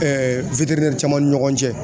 caman ni ɲɔgɔn cɛ.